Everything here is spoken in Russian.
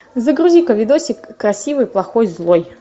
загрузи ка видосик красивый плохой злой